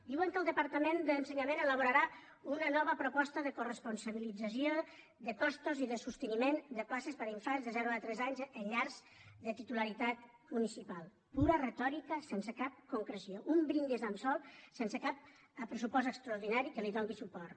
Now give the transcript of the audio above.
diuen que el departament d’ensenyament ha elaborarà una nova proposta de coresponsabilització de costos i de sosteniment de places per a infants de zero a tres anys en llars de titularitat municipal pura retòrica sense cap concreció un brindi al sol sense cap pressupost extraordinari que li doni suport